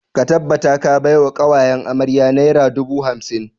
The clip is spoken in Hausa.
Ka tabbata ka bai wa ƙawayen amarya naira dubu hamsin!